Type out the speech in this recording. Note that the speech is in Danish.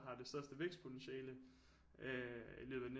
Har det største vækstpotentiale øh i løbet af